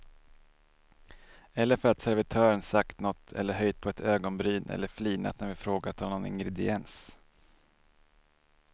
Eller för att servitören sagt något eller höjt på ett ögonbryn eller flinat när vi frågat om någon ingrediens.